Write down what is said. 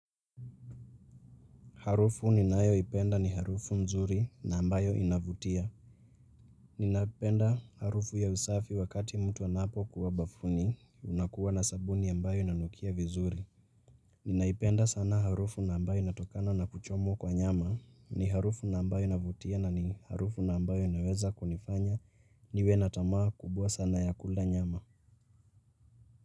Harufu ni nayo ipenda ni harufu mzuri na ambayo inavutia. Ninaipenda harufu ya usafi wakati mtu anapo kuwa bafuni unakuwa na sabuni ambayo inanukia vizuri. Ninaipenda sana harufu na ambayo inatokana na kuchomwa kwa nyama ni harufu na ambayo inavutia na ni harufu na ambayo inaweza kunifanya niwe natamaa kubwa sana ya kula nyama.